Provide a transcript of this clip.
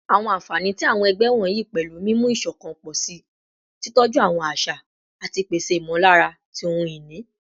Awọn anfani ti awọn ẹgbẹ wọnyi pẹlu mimu iṣọkan pọ si, titọju awọn aṣa, ati pese imọlara ti ohun-ini